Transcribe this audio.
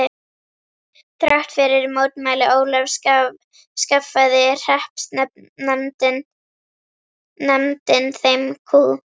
Þrátt fyrir mótmæli Ólafs skaffaði hreppsnefndin þeim kú.